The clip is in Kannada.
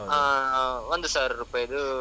ಹಾ, ಒಂದು ಸಾವಿರ ರೂಪಾಯಿದು.